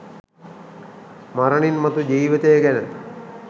මරණින් මතු ජීවිතය ගැන